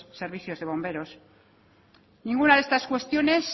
servicios de bomberos ninguna de estas cuestiones